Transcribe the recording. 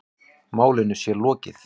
Málinu sé lokið.